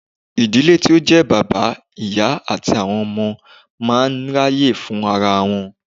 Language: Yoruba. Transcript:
Ìdílé tí ó jẹ́ bàbá, ìyá àti àwọn ọmọ máa ń ráyè fún ara wọn.